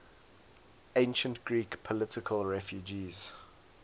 ancient greek political refugees